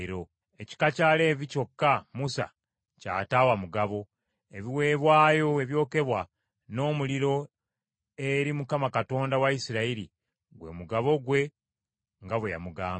Ekika kya Leevi kyokka Musa ky’ataawa mugabo, ebiweebwayo ebyokebwa n’omuliro eri Mukama Katonda wa Isirayiri, gwe mugabo gwe nga bwe yamugamba.